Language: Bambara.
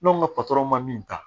N'anw ka ma min ta